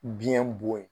Biɲɛ bon ye